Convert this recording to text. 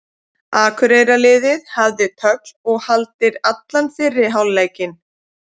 Akureyrarliðið hafði tögl og haldir allan fyrri hálfleikinn.